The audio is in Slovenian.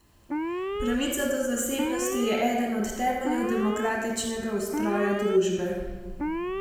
Pravica do zasebnosti je eden od temeljev demokratičnega ustroja družbe.